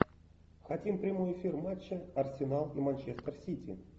хотим прямой эфир матча арсенал и манчестер сити